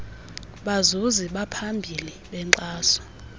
bazuzi baphambili benkxaso